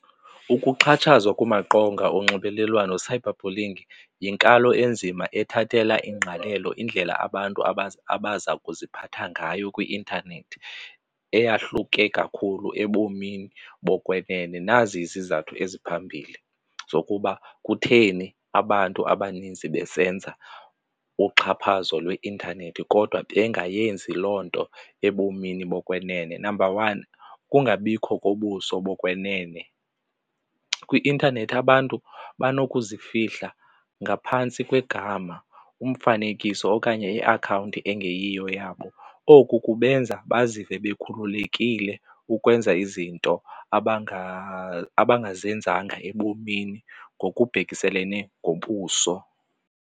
Ukuxhatshazwa kumaqonga onxibelelwano cyberbullying ynkalo enzima ethathela ingqalelo indlela abantu abaza kuziphatha ngayo kwi-intanethi eyahluke kakhulu ebomini bokwenene. Nazi izizathu eziphambili zokuba kutheni abantu abaninzi besenza uxhaphazo lweintanethi kodwa bengayezi loo nto ebomini bokwenene. Number one, ukungabikho kobuso bokwenene, kwi-intanethi abantu banokuzifihla ngaphantsi kwegama, umfanekiso okanye iakhawunti engeyiyo yabo. Oku kubenza bazive bekhululekile ukwenza izinto abazenzanga ebomini ngokubhekiselene ngobuso.